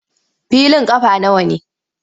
Filin ƙafa nawa ne?